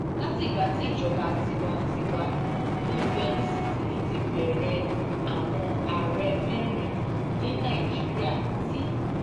látìgbà tí ìjọba tiwa-n-tiwa ti ń bẹ nísinsìnyí ti bẹ̀rẹ̀ àwọn ààrẹ mẹ́rin ni nàìjíríà ti